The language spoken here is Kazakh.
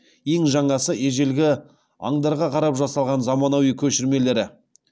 ең жаңасы ежелгі аңдарға қарап жасалған заманауи көшірмелері